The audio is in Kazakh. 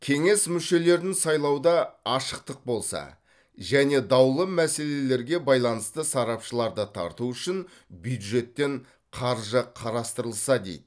кеңес мүшелерін сайлауда ашықтық болса және даулы мәселелерге байланысты сарапшыларды тарту үшін бюджеттен қаржы қарастырылса дейді